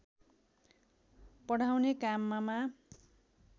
पढाउने काममा